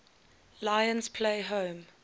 lions play home